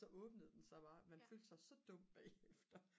så åbnede den sig bare man følte sig så dum bagefter